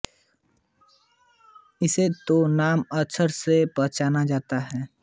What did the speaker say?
इसे तो नाम अक्षर से पहचाना जाता है